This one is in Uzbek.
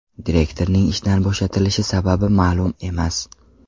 Direktorning ishdan bo‘shatilishi sababi ma’lum emas.